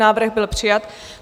Návrh byl přijat.